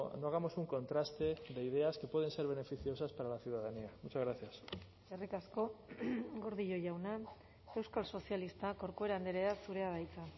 no hagamos un contraste de ideas que pueden ser beneficiosas para la ciudadanía muchas gracias eskerrik asko gordillo jauna euskal sozialistak corcuera andrea zurea da hitza